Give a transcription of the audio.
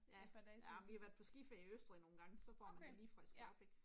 Ja, ja vi har været på skiferie i Østrig nogle gange, så får man det lige frisket op ik